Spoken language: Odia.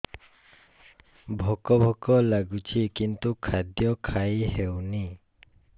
ଭୋକ ଭୋକ ଲାଗୁଛି କିନ୍ତୁ ଖାଦ୍ୟ ଖାଇ ହେଉନି